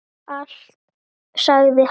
Allt sagði hann.